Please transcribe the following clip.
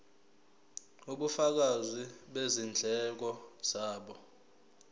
ubufakazi bezindleko zabo